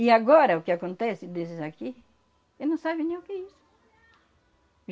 E agora, o que acontece desses aqui, eles não sabem nem o que é isso.